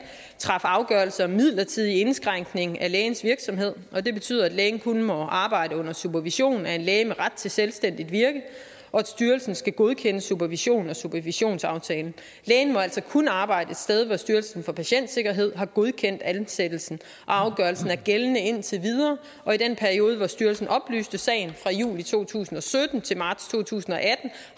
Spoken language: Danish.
traf afgørelse om midlertidig indskrænkning af lægens virksomhed og det betyder at lægen kun må arbejde under supervision af en læge med ret til selvstændigt virke og at styrelsen skal godkende supervisionen og supervisionsaftalen lægen må altså kun arbejde et sted hvor styrelsen for patientsikkerhed har godkendt ansættelsen og afgørelsen er gældende indtil videre i den periode hvor styrelsen oplyste sagen fra juli to tusind og sytten til marts to tusind og atten